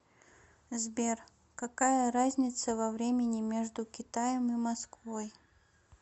сбер какая разница во времени между китаем и москвой